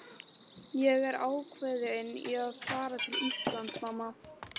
Ég er ákveðinn í að fara til Íslands, mamma.